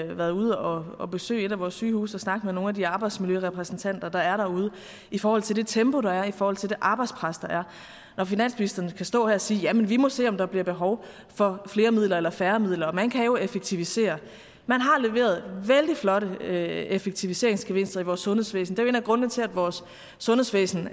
har været ude og besøge et af vores sygehuse og snakke med nogle af de her arbejdsmiljørepræsentanter der er derude i forhold til det tempo der er i forhold til det arbejdspres der er når finansministeren kan stå her og sige jamen vi må se om der bliver behov for flere midler eller færre midler og man kan jo effektivisere man har leveret vældig flotte effektiviseringsgevinster i vores sundhedsvæsen jo en af grundene til at vores sundhedsvæsen